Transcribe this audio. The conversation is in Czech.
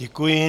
Děkuji.